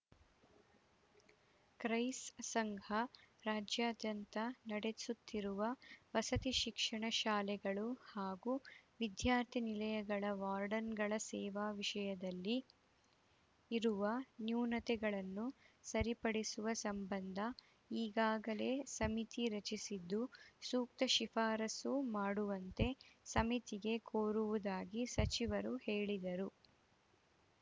ಕ್ರೈಸ್‌ ಸಂಘ ರಾಜ್ಯಾದ್ಯಂತ ನಡೆಸುತ್ತಿರುವ ವಸತಿ ಶಿಕ್ಷಣ ಶಾಲೆಗಳು ಹಾಗೂ ವಿದ್ಯಾರ್ಥಿ ನಿಲಯಗಳ ವಾರ್ಡನ್‌ಗಳ ಸೇವಾ ವಿಷಯದಲ್ಲಿ ಇರುವ ನ್ಯೂನ್ಯತೆಗಳನ್ನು ಸರಿಪಡಿಸುವ ಸಂಬಂಧ ಈಗಾಗಲೇ ಸಮಿತಿ ರಚಿಸಿದ್ದು ಸೂಕ್ತ ಶಿಫಾರಸು ಮಾಡುವಂತೆ ಸಮಿತಿಗೆ ಕೋರುವುದಾಗಿ ಸಚಿವರು ಹೇಳಿದರು